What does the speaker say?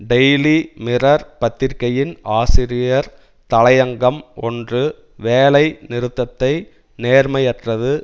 daily mirror பத்திரிகையின் ஆசிரியர் தலையங்கம் ஒன்று வேலை நிறுத்தத்தை நேர்மையற்றது